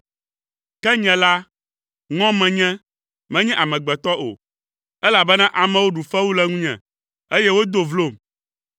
Ke nye la, ŋɔ menye, menye amegbetɔ o, elabena amewo ɖu fewu le ŋunye, eye wodo vlom.